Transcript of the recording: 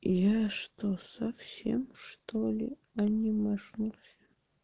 я что совсем что-ли анимешнулся